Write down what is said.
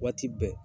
Waati bɛɛ